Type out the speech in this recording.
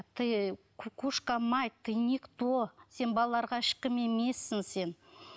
ты кукушка мать ты никто сен балаларға ешкім емессің сен